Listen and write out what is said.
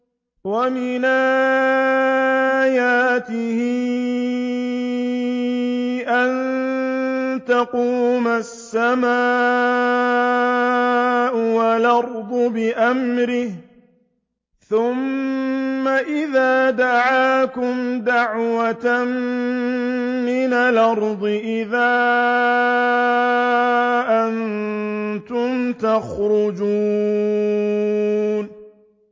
وَمِنْ آيَاتِهِ أَن تَقُومَ السَّمَاءُ وَالْأَرْضُ بِأَمْرِهِ ۚ ثُمَّ إِذَا دَعَاكُمْ دَعْوَةً مِّنَ الْأَرْضِ إِذَا أَنتُمْ تَخْرُجُونَ